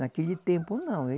Naquele tempo, não.